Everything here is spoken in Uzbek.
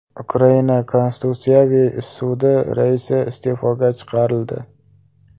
Ukraina Konstitutsiyaviy sudi raisi iste’foga chiqarildi.